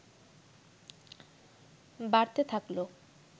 বাড়তে থাকল